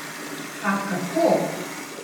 A kako?